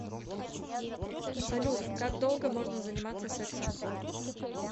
салют как долго можно заниматься сексом